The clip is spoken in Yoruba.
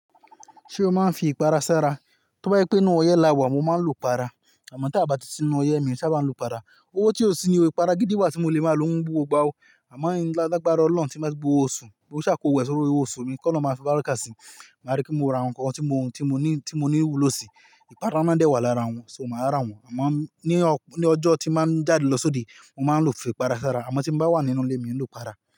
Ṣé o máa ń fi ìpara ṣára? Tóbá yẹ pé n ó yẹ lawà mo máa ń lo para, àmọ́ tí a bá ti si n ó yẹ mi ò ṣe bá máa lo para. Owó tí ó sini o, ìpara gidi wà tí mo lè máa lo ń bú gbogbo ọgbà ó, àmọ́ mo ní lágbára ọlọ́run tí máa gbé owó osu, bí ó ṣe á ko wẹ̀ sórí owó oṣù mi kó ni ó máa fi bára ká sí i. Máa rí kí mo ra nnkan tí mo, tí mo ní, tí mo ní wùlo si. Ìpara náà dẹ́wàá lára wọn, ṣó ma rá wọn, àmọ́ ní ọjọ́ tí máa ń jáde lọ sóde, mo máa ń lọ fi ìpara ṣára, àmọ́ tí bá wà nínú ilé mi n lo para.